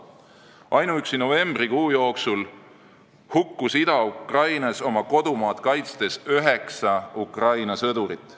Ainuüksi novembri jooksul hukkus Ida-Ukrainas oma kodumaad kaitstes üheksa Ukraina sõdurit.